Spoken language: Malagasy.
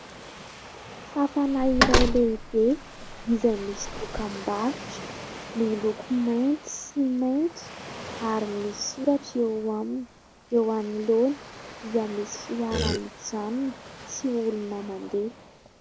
Fafana iray lehibe izay misy dokam-barotra miloko mainty sy maitso ary misy soratra eo aminy. Eo anoloana dia misy fiara mijanona sy olona mandeha.